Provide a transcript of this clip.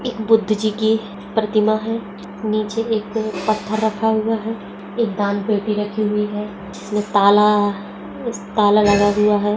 एक बुध जी कि प्रतिमा हैं नीचे एक पत्थर रखा हुआ हैं एक दान पेटी रखी हुई हैं जिसमें ताला ताला ताला लगा हुआ हैं।